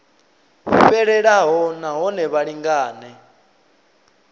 fhelelaho na hone vha lingane